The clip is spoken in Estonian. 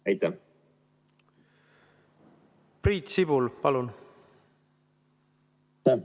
Priit Sibul, palun!